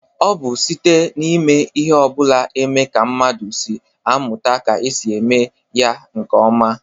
O bu site n'ime ihe obula eme ka mmadu si amuta ka e si eme ya nke oma.